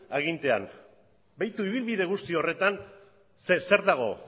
agintean begiratu ibilbide guzti horretan zer dago